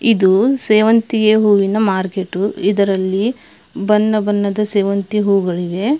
ಇದೂ ಸೇವಂತಿಯೆ ಹೂವಿನ ಮಾರ್ಕೆಟುಇದರಲ್ಲಿ ಬಣ್ಣ ಬಣ್ಣದ ಸೇವಂತಿ ಹೂಗಳಿವೆ.